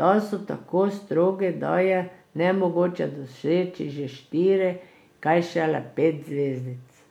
da so tako strogi, da je nemogoče doseči že štiri, kaj šele pet zvezdic.